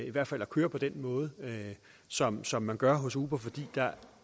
i hvert fald at køre på den måde som som man gør hos uber fordi